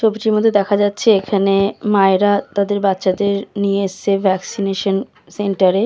ছবিটির মধ্যে দেখা এখানে মায়েরা নিয়ে এসেছে বাচ্ছাদের ভ্যাকসিনেশন সেন্টারে ।